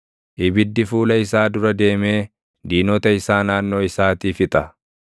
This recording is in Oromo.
Ibiddi fuula isaa dura deemee diinota isaa naannoo isaatii fixa.